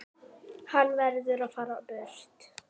Hann verður að fara burt.